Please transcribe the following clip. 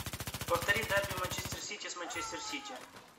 повтори дерби манчестер сити с манчестер сити